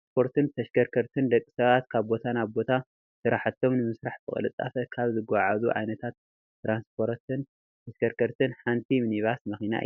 ትራንፖርትን ተሽከርከርትን፡- ደቂ ሰባት ካብ ቦታ ናብ ቦታ ስራሕቶም ንምስራሕ ብቅልጣፈ ካብ ዘጓዓዕዙ ዓይነታት ትራንስፖርትን ተሽከርከርትን ሓንቲ ሚኒባስ መኪና እያ፡፡